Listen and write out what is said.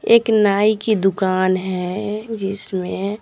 एक नाई की दुकान है जिसमें--